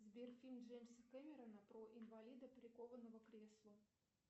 сбер фильм джеймса кэмерона про инвалида прикованного к креслу